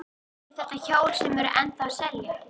Eru þetta hjól sem eru ennþá að selja?